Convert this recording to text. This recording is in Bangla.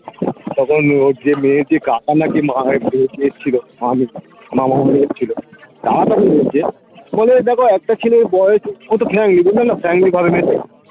তখন ওর যে মেয়ের যে কাকা না কি দেখছিলো মামা অন্য দেখছিলো তারা তখন বলছে হলে দেখো একটা ছেলের বয়েস কত family family ঘরের মেয়ে চাই